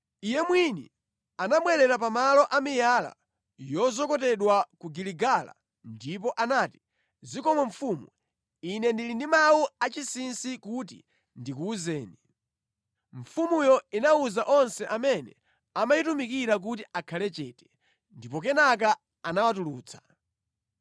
Iye mwini anabwerera pamalo a miyala yozokotedwa ku Giligala ndipo anati, “Zikomo mfumu, ine ndili ndi mawu achinsinsi kuti ndikuwuzeni.” Mfumuyo inawuza onse amene amayitumikira kuti akhale chete, ndipo kenaka anawatulutsa.